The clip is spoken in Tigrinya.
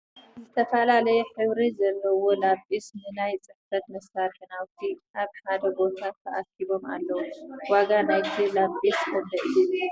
ዝተፈላለየ ሕብሪ ዘሎዎ ላጲስ ን ናይ ፅሕፈት መሳርሒ ናውቲ ኣብ ሓደ ቦታ ተኣኪቦም ኣለዉ ። ዋጋ ናይቲ ላጲስ ክንደይ እዩ ?